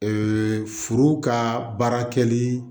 furu ka baara kɛli